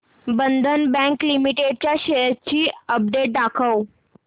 बंधन bank limited च्या shares ची update दाखव